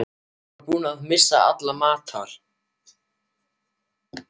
Hann var búinn að missa alla matar